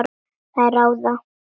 Þær ráða.